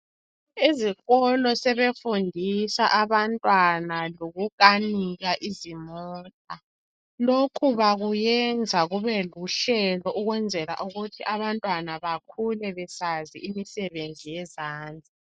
Ezikolo sebefundisa abantwana lokukanika izimota lokhu bakuyenza kube luhlelo ukwenzela ukuthi abantwana bakhule besazi imisebenzi yezandla.